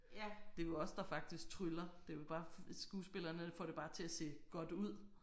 Det er jo os der faktisk tryller det er jo bare skuespillerne får det bare til at se godt ud